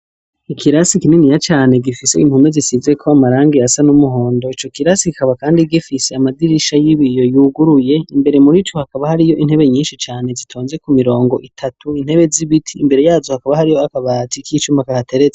Ikirasi kininiya cane gifise impome zisizeko amarangi asa n’umuhondo ,ico kirasi kikaba kandi gifise amadirisha y'ibiyo yuguruye ,imbere murico hakaba hariyo intebe nyinshi cane zitonze ku mirongo itatu, intebe z'ibiti ,imbere yazo hakaba hariyo akabati k'icuma kahateretse.